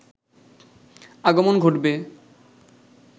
আগমন ঘটবে